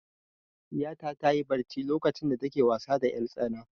Ɗiyata ta yi barci lokacin da ta ke wasa da 'yartsana.